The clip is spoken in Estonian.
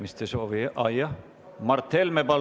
Mart Helme, palun!